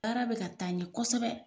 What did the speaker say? Baara bi ka taa ɲɛ kosɛbɛ